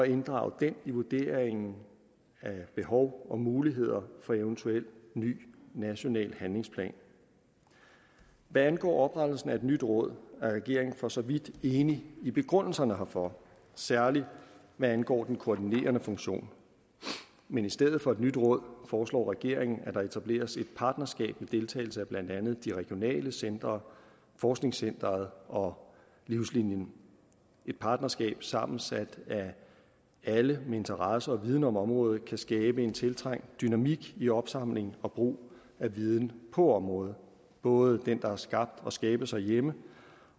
inddrage den i vurderingen af behov og muligheder for en eventuel ny national handlingsplan hvad angår oprettelsen af et nyt råd er regeringen for så vidt enig i begrundelserne herfor særlig hvad angår den koordinerende funktion men i stedet for et nyt råd foreslår regeringen at der etableres et partnerskab med deltagelse af blandt andet de regionale centre forskningscenteret og livslinien et partnerskab sammensat af alle med interesse i og viden om området kan skabe en tiltrængt dynamik i opsamling og brug af viden på området både den der er skabt og skabes herhjemme